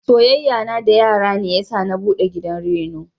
Soyayyan na da yara ne yasa na buɗe gidan reno.